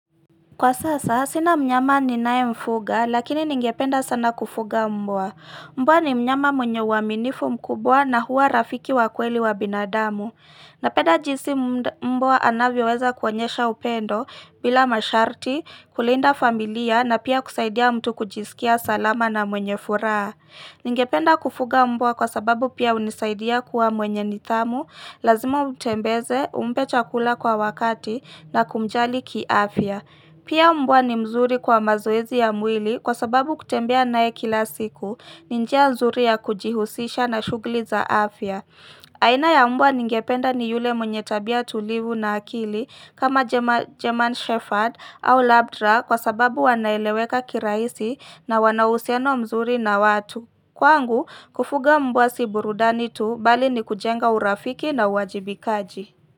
Kwa sasa, sina mnyama ninaemfuga, lakini ningependa sana kufuga mbwa. Mbwa ni mnyama mwenye uaminifu mkubwa na huwa rafiki wa kweli wa binadamu. Napeda jisi mbwa anavyoweza kuonyesha upendo, bila masharti, kulinda familia na pia kusaidia mtu kujisikia salama na mwenye furaa. Ningependa kufuga mbwa kwa sababu pia hunisaidia kuwa mwenye nidhamu, lazima umtembeze, umpe chakula kwa wakati na kumjali kiafya. Pia mbwa ni mzuri kwa mazoezi ya mwili kwa sababu kutembea nae kila siku, ni njia nzuri ya kujihusisha na shugli za afya. Aina ya mbwa ningependa ni yule mwenye tabia tulivu na akili kama German Shepherd au Labdra kwa sababu wanaeleweka kiraisi na wana uhusiano mzuri na watu. Kwangu, kufuga mbwa si burudani tu, bali ni kujenga urafiki na uwajibikaji.